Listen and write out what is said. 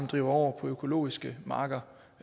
driver over på økologiske marker